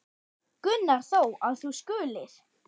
Gunnar þó, að þú skulir.